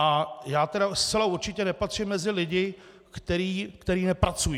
A já tedy zcela určitě nepatřím mezi lidi, kteří nepracují.